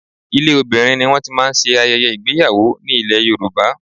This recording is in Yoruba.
Ilé obìnrin ni wọ́n ti máa ń ṣe ayẹyẹ ìgbéyàwó ní ilè Yorùbá.